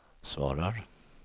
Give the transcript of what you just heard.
svarar